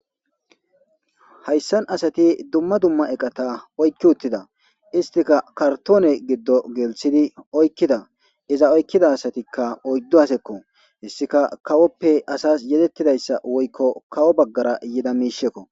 hayssan asati dumma dumma eqata oykki uttida istika kartoone giddo gelthidi oykkida iza oykkida asatikka oyddu hasekko hessika kawoppe asas yedettidayssa woykko kawo baggara yida miishekko